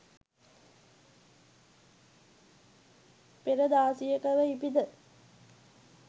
පෙර දාසියකව ඉපිද